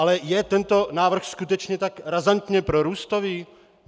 Ale je tento návrh skutečně tak razantně prorůstový?